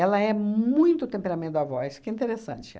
é muito temperamento da avó, isso que é interessante.